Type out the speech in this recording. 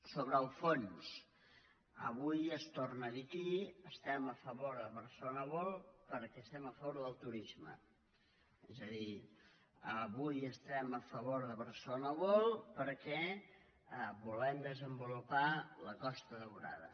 sobre el fons avui es torna a dir aquí estem a favor de barcelona world perquè estem a favor del turis·me és a dir avui estem a favor de barcelona world perquè volem desenvolupar la costa daurada